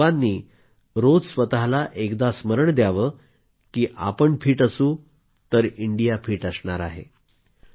आपण सर्वांनी रोज स्वतःला एकदा स्मरण द्यावं की आपण फिट असू तर इंडिया फिट असणार आहे